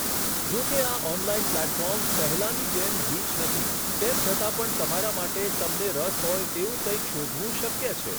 જો કે આ ઓનલાઈન પ્લેટફોર્મ્સ પહેલાની જેમ ગીચ નથી, તેમ છતાં પણ તમારા માટે તમને રસ હોય તેવું કંઈક શોધવું શક્ય છે.